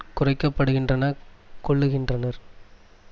குறைக்க படுகின்றன கொள்ளுகின்றனர்